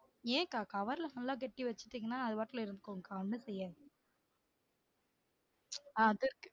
ஏன் அக்கா cover ல நல்லா கட்டி வச்சிட்டிங்கனா அது பாட்டுல இருந்துக்கும் அக்கா ஒன்னும் செய்யாது